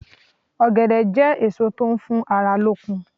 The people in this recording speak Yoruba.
Ògèdè jé èso tó n fún ara lókun